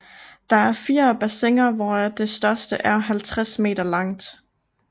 Der er 4 bassiner hvoraf det største er 50 meter langt